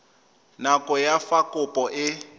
nako ya fa kopo e